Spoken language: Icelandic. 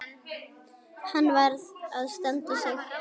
Hann varð að standa sig.